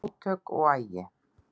Átök og agi